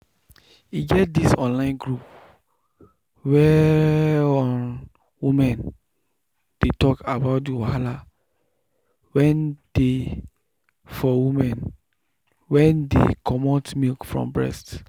e get this online group whereum women dey talk about the wahala wen dey for women wen dey comot milk from breast.